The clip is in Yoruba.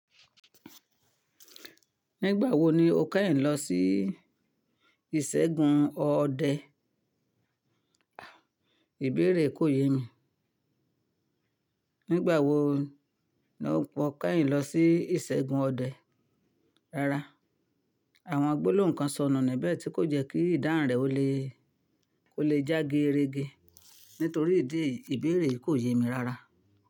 Nígbà wo ni o kẹ́yìn lọ sí ìṣègùn ọdẹ? Ibeere yii ko ye mi Àwọn gbólóhùn kan sọ̀nà níbẹ̀ tí kò jẹ́ kí ìdáhun rẹ̀ o le ó lè já gerege, nítorí ìdí èyí ìbéèrè yìí kò yé mi rárá.